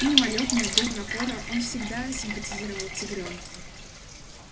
мимолётно без напора он всегда симпатизировал тигрёнку